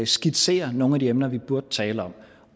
skitserer nogle af de emner vi burde tale om